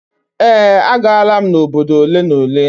Ee, agaala m obodo ole na ole